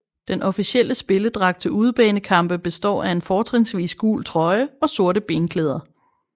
Den officielle spilledragt til udebanekampe består af en fortrinsvis gul trøje og sorte benklæder